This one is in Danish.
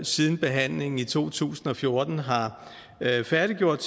siden behandlingen i to tusind og fjorten har færdiggjort